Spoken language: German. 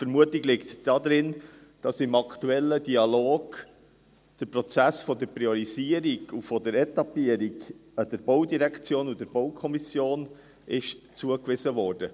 Die Vermutung ist, dass der Prozess der Priorisierung und der Etappierung im aktuellen Dialog der Baudirektion und der BaK zugewiesen wurde.